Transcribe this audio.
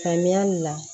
Ka ɲali la